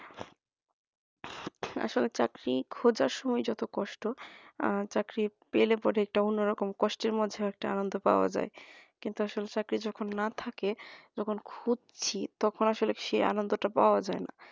আসলে চাকরি খোঁজার সময় যত কষ্ট আর চাকরি পেলে পরে একটা অন্যরকম কষ্টের মধ্যে একটা আনন্দ পাওয়া যায় কিন্তু আসলে চাকরি যখন না থাকে যখন খুজসি সে তখন আসলে সে আনন্দটা পাওয়া যায় না